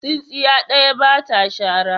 Tsintsiya ɗaya ba ta shara.